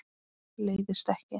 Leiðist ekki.